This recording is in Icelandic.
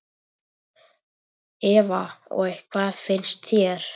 Eva: Og hvað finnst þér?